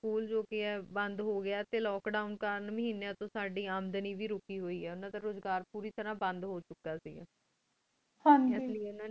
school ਜੋ ਪੇਯ ਬੰਦ ਹੁਗ੍ਯ ਟੀ ਲੋਕ ਦੋਵਂ ਡੀ ਮਹੇਨੇਯਾਂ ਦਾ ਸਾਡੀ ਆਮਦਨੀ ਵੇ ਰੁਕੀ ਹੁਈ ਆ ਰੁਜੀ ਅਜ੍ਕਰ ਬੁਰੀ ਤਰ੍ਹਾਂ ਬੰਦ ਹੂ ਚੁਕਾ ਸੇ ਗਾ ਹਨ ਜੀ